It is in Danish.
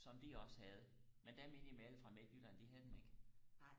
som de også havde men dem inde i mellem fra midtjylland de havde dem ikke